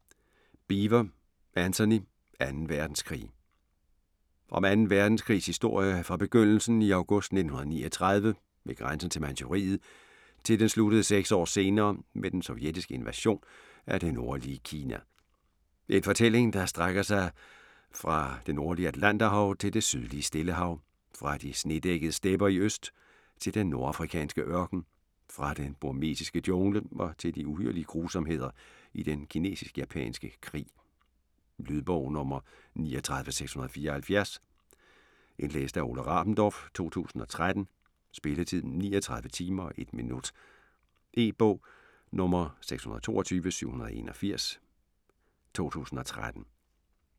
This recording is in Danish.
Beevor, Antony: Anden verdenskrig Om 2. verdenskrigs historie fra begyndelsen i august 1939 ved grænsen til Manchuriet til den sluttede seks år senere med den sovjetiske invasion af det nordlige Kina. En fortælling, der strækker sig fra der nordlige Atlanterhav til det sydlige Stillehav, fra de snedækkede stepper i øst til den nordafrikanske ørken, fra den burmesiske jungle og til de uhyrlige grusomheder i den kinesisk-japanske krig. Lydbog 39674 Indlæst af Ole Rabendorf, 2013. Spilletid: 39 timer, 1 minut. E-bog 622781 2013.